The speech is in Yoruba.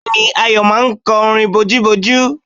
Bẹ́ẹ̀ni, Ayọ̀ máa sọ orin bojúbojú?